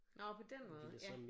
Nåh på den måde ja